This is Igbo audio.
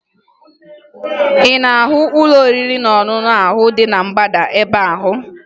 Ị na-ahụ ụlọ oriri na ọṅụṅụ ahụ dị na mgbada ebe ahụ?